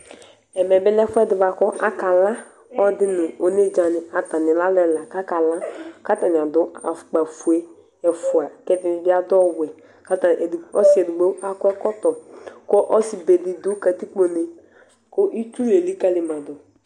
Ɛmɛbi lɛ ɛfʋɛdi bʋakʋ akala, Ɔlɔdi nʋ onedzani kʋ atani lɛ alʋ ɛla kʋ akala kʋ atani adʋ afʋkpafue ɛfʋa, kʋ ɛdini bi adʋ ɔwɛ, kʋ ɔsi edigbo akɔ ɛkɔtɔ, kʋ ɔsibedi dʋ katikpone, kʋ itsu lelikali madʋ